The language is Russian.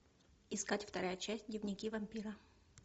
искать вторая часть дневники вампира